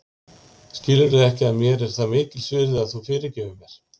Skilurðu ekki að mér er það mikils virði að þú fyrirgefir mér.